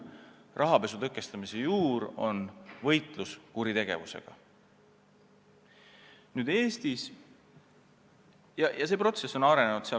Rahapesu tõkestamise juur on võitlus kuritegevusega ja see protsess on arenenud.